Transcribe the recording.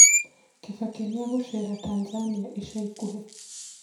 kibaki niagucera tanzania ica ĩkũhĩ